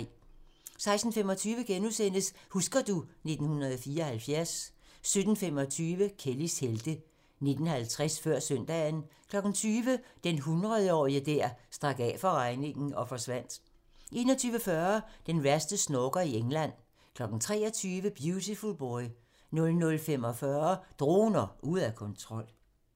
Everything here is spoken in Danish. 16:25: Husker du ... 1974 * 17:25: Kellys helte 19:50: Før søndagen 20:00: Den hundredetårige der stak af fra regningen og forsvandt 21:40: Den værste snorker i England 23:00: Beautiful Boy 00:45: Droner ude af kontrol